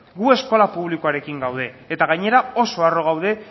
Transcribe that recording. gu eskola publikoarekin gaude eta gainera oso harro gaude